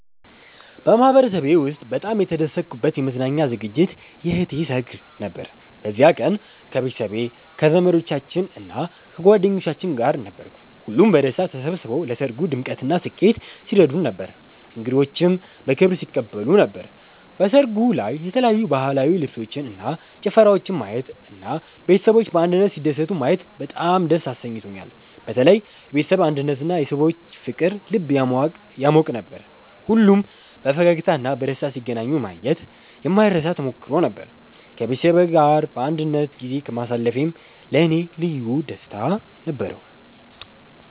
በማህበረሰቤ ውስጥ በጣም የተደሰትኩበት የመዝናኛ ዝግጅት የእህቴ ሰርግ ነበር። በዚያ ቀን ከቤተሰቤ፣ ከዘመዶቻችን እና ከጓደኞቻችን ጋር ነበርኩ። ሁሉም በደስታ ተሰብስበው ለሰርጉ ድምቀትና ስኬት ሲረዱን ነበር፣ እንግዶችንም በክብር ሲቀበሉ ነበር። በሰርጉ ላይ የተለያዩ ባህላዊ ልብሶችን እና ጭፈራወችን ማየት እና ቤተሰቦች በአንድነት ሲደሰቱ ማየት በጣም ደስ አሰኝቶኛል። በተለይ የቤተሰብ አንድነትና የሰዎች ፍቅር ልብ ያሟቅ ነበር። ሁሉም በፈገግታ እና በደስታ ሲገናኙ ማየት የማይረሳ ተሞክሮ ነበር። ከቤተሰቤ ጋር በአንድነት ጊዜ ማሳለፌም ለእኔ ልዩ ደስታ ነበረው።